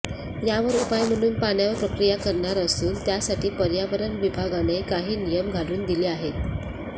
यावर उपाय म्हणून पाण्यावर प्रक्रिया करणार असून त्यासाठी पर्यावरण विभागाने काही नियम घालून दिले आहेत